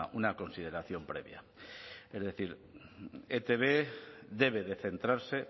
una consideración previa es decir etb debe de centrarse